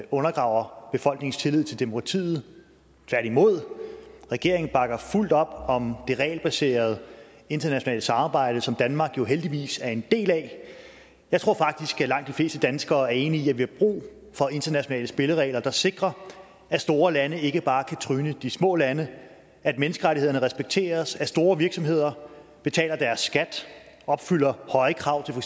undergraver befolkningens tillid til demokratiet tværtimod regeringen bakker fuldt op om det regelbaserede internationale samarbejde som danmark jo heldigvis er en del af jeg tror faktisk at langt de fleste danskere er enige i at vi har brug for internationale spilleregler der sikrer at store lande ikke bare kan tryne de små lande at menneskerettighederne respekteres at store virksomheder betaler deres skat og opfylder høje krav